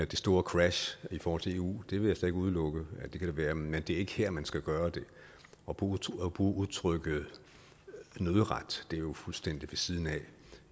det store crash i forhold til eu det vil jeg slet ikke udelukke at der kan være men det er ikke her man skal gøre det at bruge udtrykket nødret er jo fuldstændig ved siden af